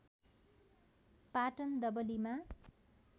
Patan डबलीमा